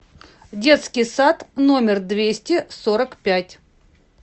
детский сад номер двести сорок пять